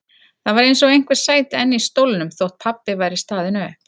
Það var eins og einhver sæti enn í stólnum þótt pabbi væri staðinn upp.